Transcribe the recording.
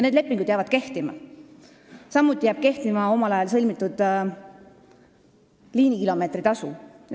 Need lepingud jäävad kehtima, samuti jääb kehtima omal ajal sõlmitud liinikilomeetri tasu.